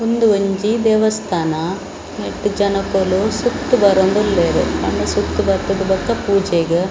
ಉಂದು ಒಂಜಿ ದೇವಸ್ಥಾನ ಐಟ್‌ ಜನಕ್ಕುಲು ಸುತ್ತ್‌ ಬರೋಂದು ಉಲ್ಲೇರ್‌ ಆಂಡ ಸುತ್ತ್‌ ಬತ್ತ್‌ದ್‌ ಬೊಕ್ಕ ಪೂಜೆಗ್ .